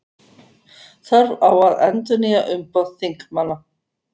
Þörf á að endurnýja umboð þingmanna